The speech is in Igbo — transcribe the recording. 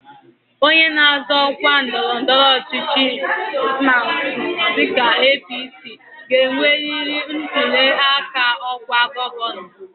Onye na-azọ ọkwa ndọrọndọrọ ọchịchị nke ama dịka APC, ga-emeri ntụli aka ọkwa gọvanọ